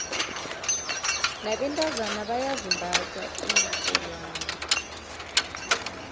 nabentazana bayazimbatha iinrholwane